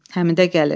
Həmidə gəlir.